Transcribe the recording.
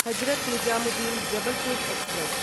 Hazrat Nizamuddin Jabalpur express